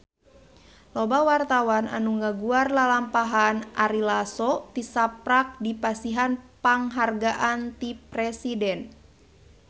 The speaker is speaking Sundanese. Loba wartawan anu ngaguar lalampahan Ari Lasso tisaprak dipasihan panghargaan ti Presiden